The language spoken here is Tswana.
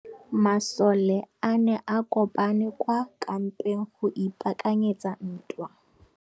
Masole a ne a kopane kwa kampeng go ipaakanyetsa ntwa.